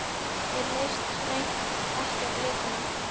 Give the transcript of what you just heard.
Mér leist hreint ekki á blikuna.